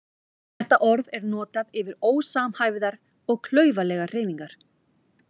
Þetta orð er notað yfir ósamhæfðar og klaufalegar hreyfingar.